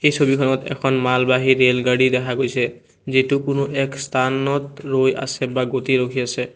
ছবিখনত এখন মালবাহী ৰেলগাড়ী দেখা গৈছে যিটো কোনো এক স্থানত ৰৈ আছে বা গতি ৰখি আছে।